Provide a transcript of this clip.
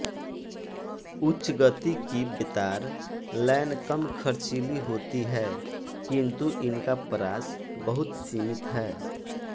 उच्च गति की बेतार लैन कम खर्चीली होती हैं किन्तु इनका परास बहुत सीमित है